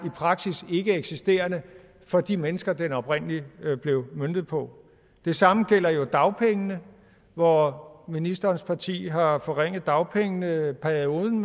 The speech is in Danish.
praksis er ikkeeksisterende for de mennesker den oprindelig var møntet på det samme gælder jo dagpengene hvor ministerens parti har forringet dagpengeperioden